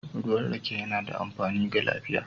Ruwan rake yana da amfani ga lafiya